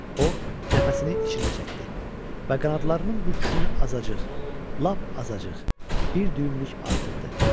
O nəfəsini içinə çəkdi və qanadlarının büküşünü azacıq, lap azacıq bir düyümlük artırdı.